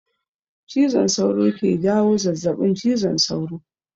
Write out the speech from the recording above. Cizon sauro ke jawo zazabin cizon sauro